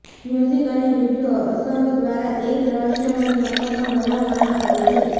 music અને video અસરો દ્વારા એક રહસ્યમય નોકર પણ બનાવવામાં આવે છે